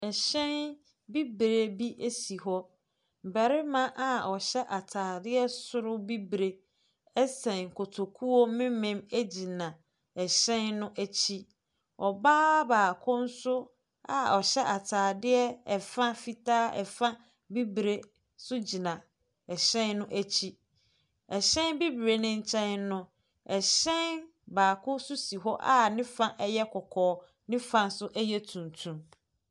Ɛhyɛn bibire bi si hɔ. Barima a ɔhyɛ atadeɛ soro bibire sɛn kototuo mmemmem gyina ɛhyɛn no akyi. Ɔbaa baako nso a ɔhyɛ atadeɛ fa fitaa, fa bibire nso gyina ɛhyɛn no akyi. Ɛhyɛn bibire npo nkyɛn no, ɛhyɛn baako nso si hɔ a ne fa yɛ kɔkɔɔ, ne fa nso yɛ tuntum.